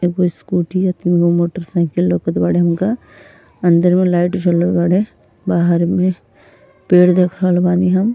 एक स्कूटी ह तीन गो मोटरसाइकिल लउकत बाड़े हमका। अंदर में लाइट जलल बाड़े बाहर में पेड़ देख रहल बानी हम।